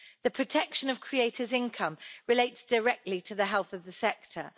The protection of creators' income relates directly to the health of the sector.